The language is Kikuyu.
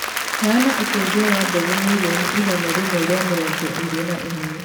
Heana ũteithio wa mbegũ mirioni igana rĩmwe ria mĩrongo ĩrĩ na ĩmwe